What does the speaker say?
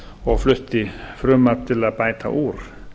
og flutti frumvarp til að bæta úr